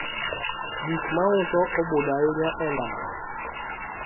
gik mauso obudho ahinya e ndara